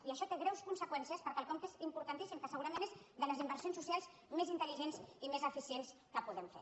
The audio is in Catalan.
i això té greus conseqüències per a quelcom que és importantíssim que segurament és de les inversions socials més intelligents i més eficients que podem fer